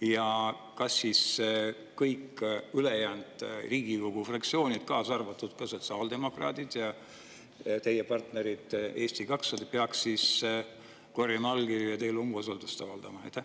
Ja kas siis kõik ülejäänud Riigikogu fraktsioonid, kaasa arvatud ka sotsiaaldemokraadid ja teie partner Eesti 200, peaks korjama allkirju ja teile umbusaldust avaldama?